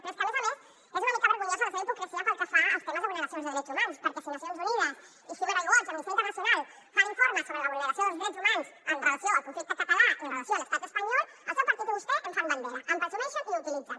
però és que a més a més és una mica vergonyosa la seva hipocresia pel que fa als temes de vulneracions dels drets humans perquè si nacions unides i human rights watch o amnistia internacional fan informes sobre la vulneració dels drets humans amb relació al conflicte català i amb relació a l’estat espanyol el seu partit i vostè en fan bandera en presumeixen i ho utilitzen